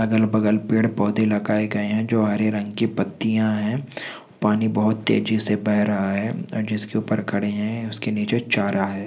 अगल बगल पेड़ पौधे लगाए गए है जो हरे रंग के पत्तियाँ है पानी बहुत तेजी से बेह रहा है जिसके ऊपर खड़े है उसके नीचे चारा है।